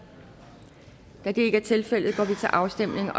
da det ikke er tilfældet går vi til afstemning